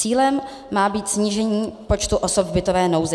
Cílem má být snížení počtu osob v bytové nouzi.